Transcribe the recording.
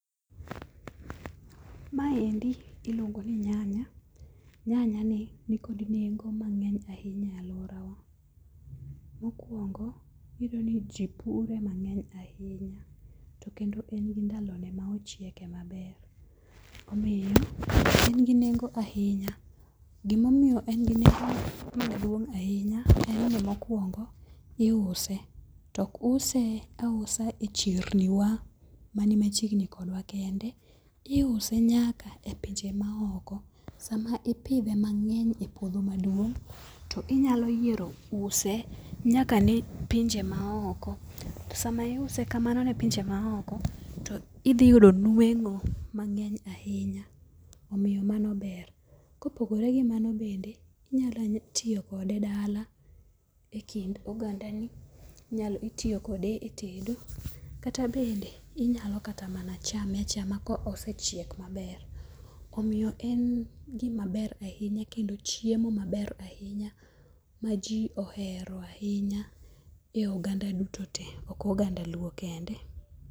Maendi iluongo ni nyanya . Nyanya nikod nengo mang'eny ahinya e alworawa. Mokwongo, iyudo ni ji pure mang'eny ahinya, to kendo en gi ndalone ma ochieke maber. Omiyo en gi nengo ahinya gimomiyo en gi nengo maduong' ahinya en ni mokwongo, iuse to ok use ausa e chirni wa ,mani machiegni kodwa kende, iuse nyaka e pinje maok. Sama ipidhe mang'eny e puodho maduong',to inyalo yiero use nyaka ne pinje maoko. Sama iuse kamano ne pinje maoko, to idhi yudo nweng'o mang'eny ahinya. Omiyo mano ber. Kopogore gi mano bende, inyalo tiyo kode dala e kind ogandani, itiyo kode e tedo kata bende inyalo kata mana chame achama kosechiek maber. Omiyo en gimaber ahinya kendo chiemo maber ahinya ma ji ohero ahinya e oganda duto te, ok oganda luo kende.